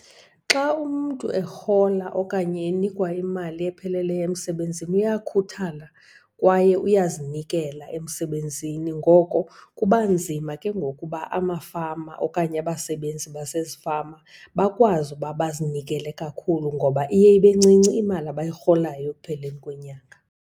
Xa umntu erhola okanye enikwa imali epheleleyo emsebenzini uyakhuthala kwaye uyazinikela emsebenzini. Ngoko kuba nzima ke ngoku uba amafama okanye abasebenzi basezifama bakwazi ukuba bezinikele kakhulu ngoba iye ibe ncinci imali abayirholayo ekupheleni kwenyanga.